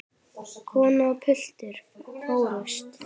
Kona og piltur fórust.